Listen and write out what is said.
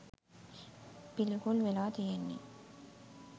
පිළිකුල් වෙලා තියෙන්නේ.